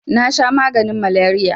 nasha maganin maleriya